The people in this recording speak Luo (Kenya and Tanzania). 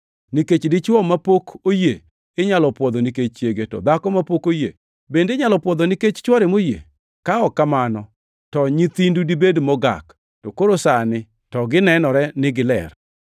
Nikech dichwo mapok oyie inyalo pwodho nikech chiege, to dhako mapok oyie bende inyalo pwodho nikech chwore moyie. Ka ok kamano, to nyithindu dibed mogak, to koro sani to ginenore ni giler.